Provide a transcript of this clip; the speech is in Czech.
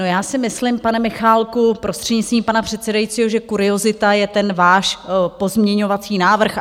No, já si myslím, pane Michálku, prostřednictvím pana předsedajícího, že kuriozita je ten váš pozměňovací návrh.